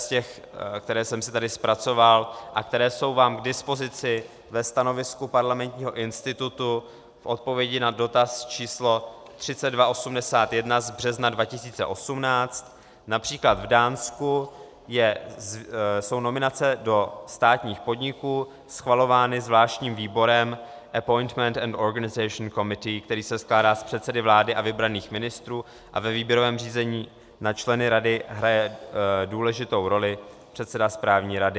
Z těch, které jsem si tady zpracoval a které jsou vám k dispozici ve stanovisku Parlamentního institutu k odpovědi na dotaz číslo 3281 z března 2018, například v Dánsku jsou nominace do státních podniků schvalovány zvláštním výborem Appointment and Organisation Committee, který se skládá z předsedy vlády a vybraných ministrů, a ve výběrovém řízení na členy rady hraje důležitou roli předseda správní rady.